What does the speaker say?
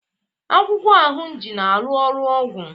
akwụkwọ ahunji na aru ọrụ ọgwụ